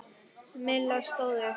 Milla stóð upp.